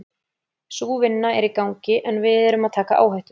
Sú vinna er í gangi en við erum að taka áhættu.